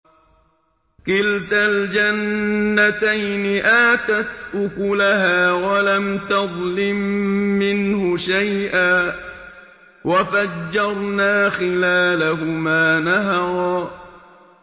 كِلْتَا الْجَنَّتَيْنِ آتَتْ أُكُلَهَا وَلَمْ تَظْلِم مِّنْهُ شَيْئًا ۚ وَفَجَّرْنَا خِلَالَهُمَا نَهَرًا